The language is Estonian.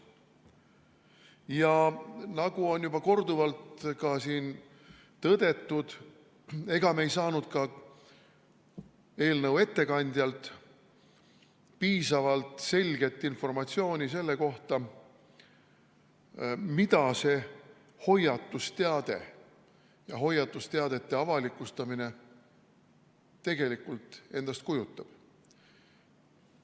Nagu siin on juba korduvalt tõdetud, ei saanud me ka eelnõu ettekandjalt piisavalt selget informatsiooni selle kohta, mida see hoiatusteade ja hoiatusteadete avalikustamine tegelikult endast kujutavad.